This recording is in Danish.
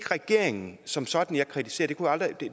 regeringen som sådan jeg kritiserer